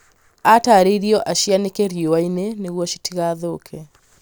aataarirĩo acĩanike riũa-inĩ nĩguo citigathũuke